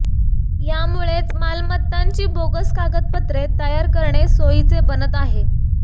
यामुळेच मालमत्तांची बोगस कागदपत्रे तयार करणे सोयीचे बनत आहे